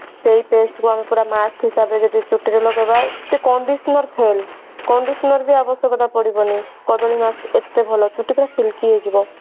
ସେଇ pest କୁ ଆମେ ପୁରା mask ହିସାବରେ ଯଦି ଚୁଟିରେ ଲଗେଇବା Condition frame condition ର ଆବଶ୍ୟକତା ପଡିବନି କଦଳୀ mask ଏତେ ଭଲ ଛୁଟି ପୁରା silky ହେଇଯିବ